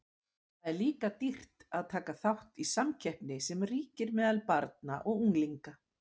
Það er líka dýrt að taka þátt í samkeppninni sem ríkir meðal barna og unglinga.